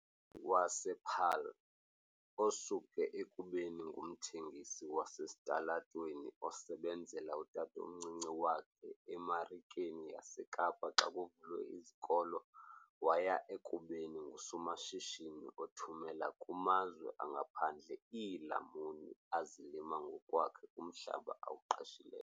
wasePaarl, osuke ekubeni ngumthengisi wasesitalatweni osebenzela utatomncinci wakhe eMarikeni yaseKapa xa kuvalwe izikolo waya ekubeni ngusomashishini othumela kumazwe angaphandle iilamuni azilima ngokwakhe kumhlaba awuqeshileyo.